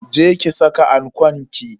Je ki saka ankon ki.